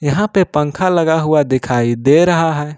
यहां पे पंखा लगा हुआ दिखाई दे रहा है।